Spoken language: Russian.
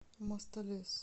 мостолес